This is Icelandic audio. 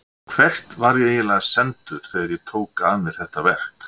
Hvert var ég eiginlega sendur þegar ég tók að mér þetta verk?